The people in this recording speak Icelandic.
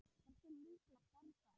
Hversu líklegt er það?